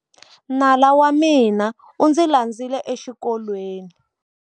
Nala wa mina u ndzi landzile exikolweni.